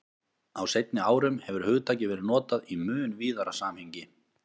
Á seinni árum hefur hugtakið verið notað í mun víðara samhengi.